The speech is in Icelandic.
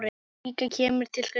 líka kemur til greina.